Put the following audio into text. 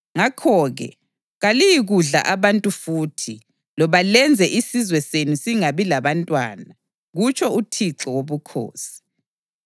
ngakho-ke kaliyikudla abantu futhi loba lenze isizwe senu singabi labantwana, kutsho uThixo Wobukhosi.